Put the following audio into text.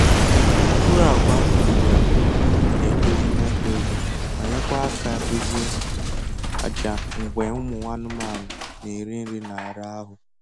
Mkpụrụ agwa akụriri akụri na edozi Nitrogen ma nyekwa aka dozie aja mgbe ụmụ anụmanụ na eri nri n'ala ahu